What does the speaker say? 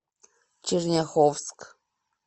черняховск